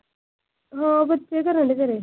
ਹੋਰ ਬੱਚੇ ਕੀ ਕਰ ਡਰੀ ਆ ਘਰੇ।